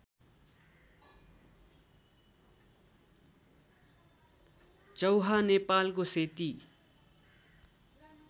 चौहा नेपालको सेती